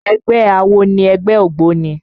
Ẹgbẹ́ awo ni ẹgbẹ́ ògbóni